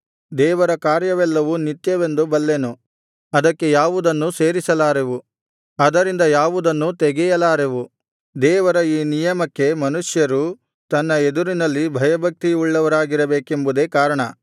ದೇವರ ಕಾರ್ಯವೆಲ್ಲವು ನಿತ್ಯವೆಂದು ಬಲ್ಲೆನು ಅದಕ್ಕೆ ಯಾವುದನ್ನೂ ಸೇರಿಸಲಾರೆವು ಅದರಿಂದ ಯಾವುದನ್ನೂ ತೆಗೆಯಲಾರೆವು ದೇವರ ಈ ನಿಯಮಕ್ಕೆ ಮನುಷ್ಯರು ತನ್ನ ಎದುರಿನಲ್ಲಿ ಭಯಭಕ್ತಿ ಉಳ್ಳವರಾಗಿರಬೇಕೆಂಬುದೇ ಕಾರಣ